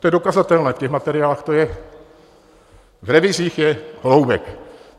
To je dokazatelné, v těch materiálech to je, v revizích je Holoubek.